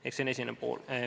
Ehk see on esimene pool.